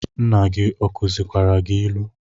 Nna gi ọ kuzikwara gi ilu?